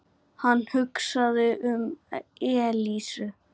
Hann hugsaði um Elísu.